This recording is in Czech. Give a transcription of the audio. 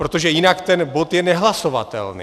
Protože jinak ten bod je nehlasovatelný.